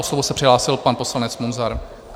O slovo se přihlásil pan poslanec Munzar.